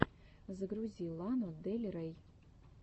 загрузи лану дель рей